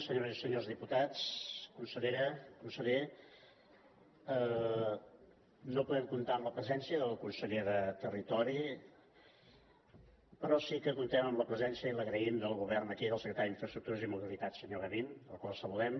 senyores i senyors diputats consellera conseller no podem comptar amb la presència del conseller de territori però sí que comptem amb la presència i l’agraïm del govern aquí del secretari d’infraestructures i mobilitat senyor gavín al qual saludem